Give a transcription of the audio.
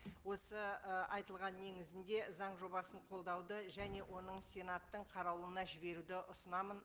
осы ы айтылған негізінде заң жобасын қолдауды және оны сенаттың қарауына жіберуді ұсынамын